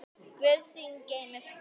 Guð þín geymi spor.